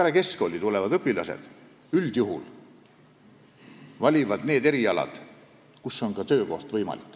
Peale keskkooli tulevad õpilased valivad üldjuhul sellised erialad, mis võimaldavad ka töökohta saada.